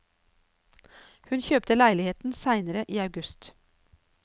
Hun kjøpte leiligheten senere i august.